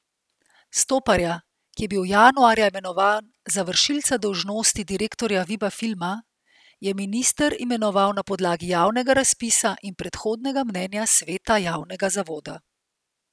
Stoparja, ki je bil januarja imenovan za vršilca dolžnosti direktorja Viba Filma, je minister imenoval na podlagi javnega razpisa in predhodnega mnenja sveta javnega zavoda.